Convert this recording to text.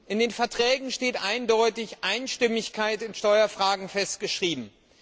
In den Verträgen ist eindeutig die Einstimmigkeit in Steuerfragen festgeschrieben.